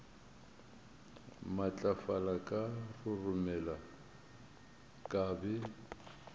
matlafala ka roromela ka be